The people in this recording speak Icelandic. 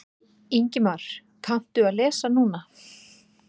Ingimar: Kanntu að lesa núna?